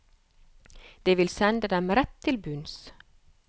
Det vil sende dem rett til bunns.